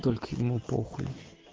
только ему похую